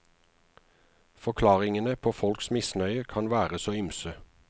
Forklaringene på folks misnøye kan være så ymse.